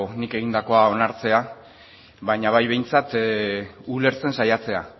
nik egindako onartzea baina bai behintzat ulertzen saiatzea